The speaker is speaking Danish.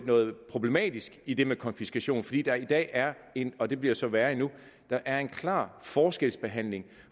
noget problematisk i det med konfiskation fordi der i dag er en og det bliver så være endnu klar forskelsbehandling